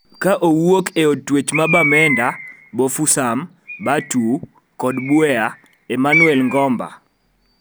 Ka owuokma e od twech ma Bamenda, Bafoussam, Bertoua kod Buea, Emmanuel Ngomba,